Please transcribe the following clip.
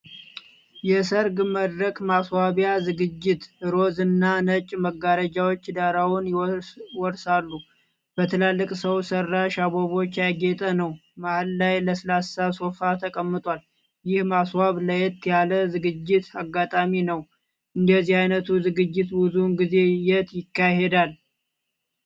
የሰርግ መድረክ ማስዋቢያ ዝግጅት። ሮዝ እና ነጭ መጋረጃዎች ዳራውን ይወርሳሉ። በትላልቅ ሰው ሠራሽ አበቦች ያጌጠ ነው። መሃል ላይ ለስላሳ ሶፋ ተቀምጧል። ይህ ማስዋብ ለየት ያለ ዝግጅት አጋጣሚ ነው። እንደዚህ አይነቱ ዝግጅት ብዙውን ጊዜ የት ይካሄዳል?